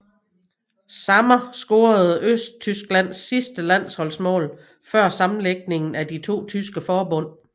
Sammer scorede Østtysklands sidste landsholdsmål før sammenlægningen af de to tyske forbund